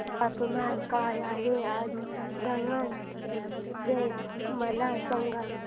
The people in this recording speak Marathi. तापमान काय आहे आज दमण चे मला सांगा